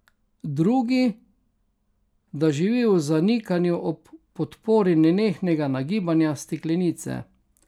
Drugi, da živi v zanikanju ob podpori nenehnega nagibanja steklenice.